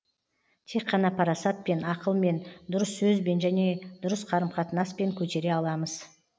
тек қана парасатпен ақылмен дұрыс сөзбен және дұрыс қарым қатынаспен көтере аламыз